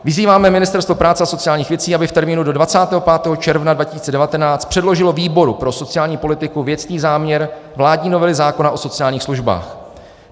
Vyzýváme Ministerstvo práce a sociálních věcí, aby v termínu do 25. června 2019 předložilo výboru pro sociální politiku věcný záměr vládní novely zákona o sociálních službách.